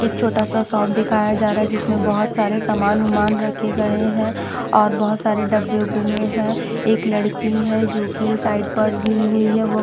एक छोटा सा शॉप दिखाया जा रहा है जिसमें बहोत सारे सामान उमान रखे गए हैं और बहोत सारे डब्बे उब्बे में है एक लड़की है जो की साइड पर्स ली हुई है वह--